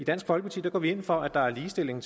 dansk folkeparti går vi ind for at der er ligestilling